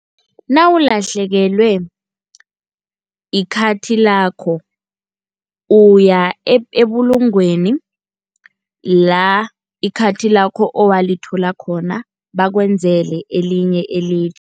Nawulahlekelwe ikhathi lakho uya ebulungweni la ikhathi lakho owalithola khona bakwenzele elinye .